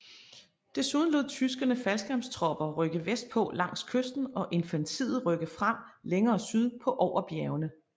Desuden lod tyskerne faldskærmstropper rykke vestpå langs kysten og infanteriet rykke frem længere syd på over bjergene